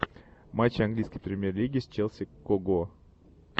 матчи английской премьер лиги с челси кого